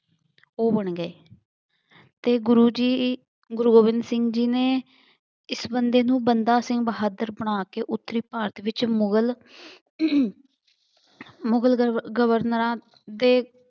ਉਹ ਬਣ ਗਏ। ਅਤੇ ਗੁਰੂ ਜੀ ਗੁਰੂ ਗੋਬਿੰਦ ਸਿੰਘ ਜੀ ਨੇ ਇਸ ਬੰਦੇ ਨੂੰ ਬੰਦਾ ਸਿੰਘ ਬਹਾਦਰ ਬਣਾ ਕੇ ਉੱਤਰੀ ਭਾਰਤ ਵਿੱਚ ਮੁਗਲ ਮੁਗਲ ਗਵਰ ਗਰਵਰਨਰਾਂ ਦੇ